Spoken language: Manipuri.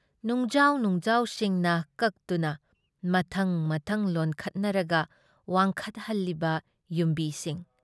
ꯅꯨꯡꯖꯥꯎ ꯅꯨꯡꯖꯥꯎꯁꯤꯡꯅ ꯀꯛꯇꯨꯅ ꯃꯊꯪ-ꯃꯊꯪ ꯂꯣꯟꯈꯠꯅꯔꯒ ꯋꯥꯡꯈꯠꯍꯜꯂꯤꯕ ꯌꯨꯝꯕꯤꯁꯤꯡ ꯫